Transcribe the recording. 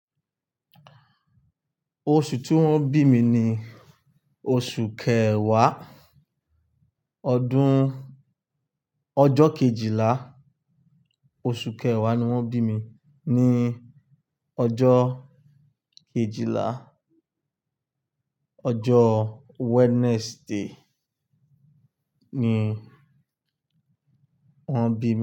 Oṣù tí wọ́n bí mi ni oṣù kẹwàá, ọdún-- ọjọ kejìlá, oṣù kẹwàá ni wọ́n bí mi ní ọjọ kejìlá, ọjọ Wednesday ni wọ́n bí mi.